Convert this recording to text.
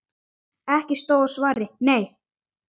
Ekki stóð á svari: Nei!